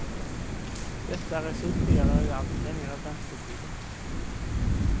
Detta resulterar i allt längre väntetider.